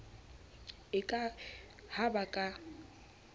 e ka ha ba ka